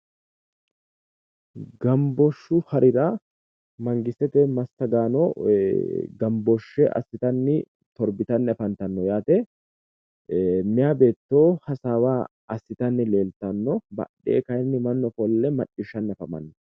Gambooshshu harira mangistete massagaano gambooshshe assitanni torbitanni afantanno yaate. meyaa beetto hasaawa assitanni leeltanno badhee kayinni mannu hasaawa macciishshanni afamanno.